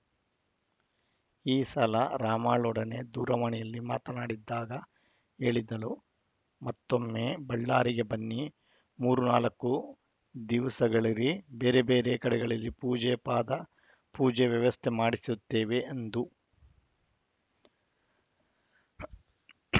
ಈ ಸಲ ರಾಮಾಳೊಡನೆ ದೂರವಾಣಿಯಲ್ಲಿ ಮಾತನಾಡಿದಾಗ ಹೇಳಿದ್ದಳುಮತ್ತೊಮ್ಮೆ ಬಳ್ಳಾರಿಗೆ ಬನ್ನಿ ಮೂರುನಾಲ್ಕು ದಿವಸಗಳಿರಿ ಬೇರೆಬೇರೆ ಕಡೆಗಳಲ್ಲಿ ಪೂಜೆಪಾದ ಪೂಜೆ ವ್ಯವಸ್ಥೆ ಮಾಡಿಸುತ್ತೀವಿ ಎಂದು